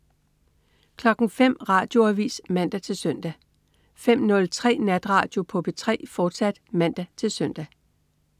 05.00 Radioavis (man-søn) 05.03 Natradio på P3, fortsat (man-søn)